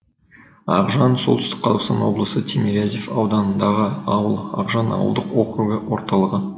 ақжан солтүстік қазақстан облысы тимирязев ауданындағы ауыл ақжан ауылдық округі орталығы